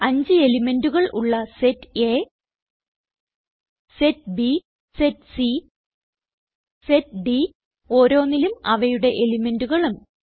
5 എലിമെന്റുകൾ ഉള്ള set A set B set C set D ഓരോന്നിലും അവയുടെ എലിമെന്റുകളും